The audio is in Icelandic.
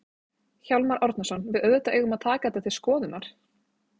Hjálmar Árnason: Við auðvitað eigum að taka þetta til skoðunar?